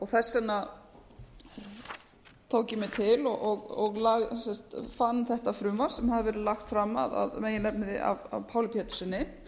þess vegna tók ég mig til og fann þetta frumvarp sem hafði verið lagt fram að meginefni af páli péturssyni